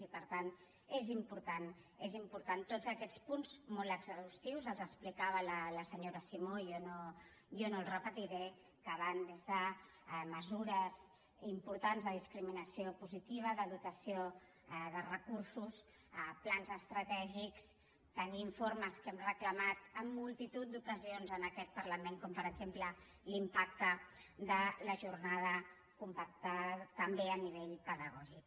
i per tant és important són importants tots aquests punts molt exhaustius els explicava la senyora simó jo no els repetiré que van des de mesures importants de discriminació positiva de dotació de recursos plans estratègics tenir informes que hem reclamat en multitud d’ocasions en aquest parlament com per exemple l’impacte de la jornada compactada també a nivell pedagògic